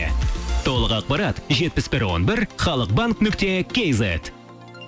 толық ақпарат жетпіс бір он бір халық банк нүкте кейзет